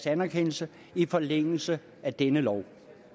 anerkendelse i forlængelse af denne lov